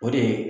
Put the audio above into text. O de ye